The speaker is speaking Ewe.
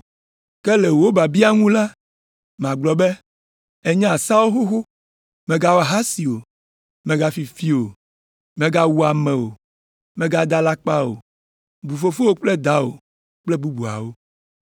Ke le wò biabia ŋu la, magblɔ be ènya seawo xoxo be, ‘Mègawɔ ahasi o, mègafi fi o, mègawu ame o, mègada alakpa o, bu fofowò kple dawò kple bubuawo.’ ”